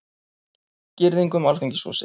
Girðing um Alþingishúsið